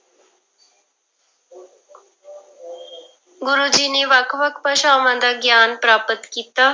ਗੁਰੂ ਜੀ ਨੇ ਵੱਖ ਵੱਖ ਭਾਸ਼ਾਵਾਂ ਦਾ ਗਿਆਨ ਪ੍ਰਾਪਤ ਕੀਤਾ।